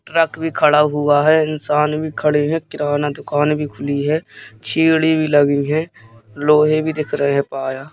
truck भी खड़ा हुआ है इंसान भी खड़े हैं किराना दुकान भी खुली है सीढ़ी भी लगी हुई है लोहे भी दिख रहे हैं पाया--